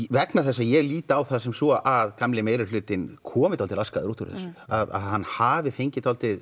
vegna þess að ég lít á það sem svo að gamli meirihlutinn komi dálítið laskaður út úr þessu að hann hafi fengið dálítið